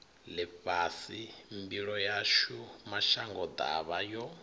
ḽifhasi mbilo yashu mashangoḓavha yo